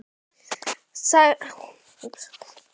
Hún sagði að dömur færu ekki á traktorum á böll.